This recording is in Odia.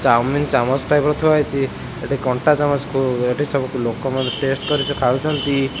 ଚଓମିନ୍ ଚାମଚ୍ ଟାଇପ୍ ର ଥୁଆ ହେଇଚି ଏଠି କଣ୍ଟା ଚାମଚ୍ କୁ ଏଠି ସବୁ ଲୋକମାନେ ଟେଷ୍ଟ୍ କରି ଖାଉଚନ୍ତି।